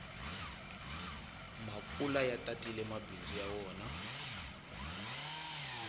makula ya tatile mabindzu ya wona